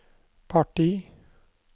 parti